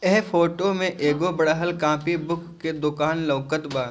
ये फोटो में एगो बड़हल कॉपी बुक के दुकान लउकत बा।